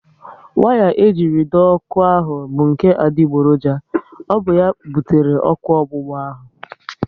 Waya e jiri dọọ ọkụ ahụ bụ nke adigboroja, ọ bụ ya butere ọkụ ọgbụgba ahu